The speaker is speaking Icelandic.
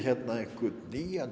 einhvern nýjan